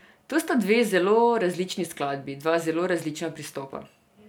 To sta dve zelo različni skladbi, dva zelo različna pristopa.